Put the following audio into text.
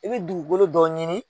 I bɛ dugukolo dɔ ɲini